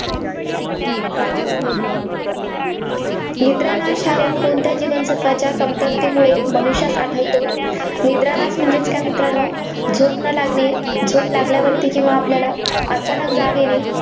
निद्रानाश हा रोग कोणत्या जीवनसत्त्वाच्या कमतरतेमुळे मनुष्यात आढळतो? निद्रानाश म्हणजेच काय? मित्रांनो, झोप न लागणे, झोप लागल्यावरती किंवा आपल्याला अचानक जाग येणे.